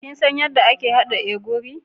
Kin san yadda ake hada ogiri?